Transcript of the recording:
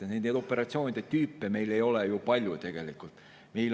Nende operatsioonide tüüpe ei ole tegelikult ju palju.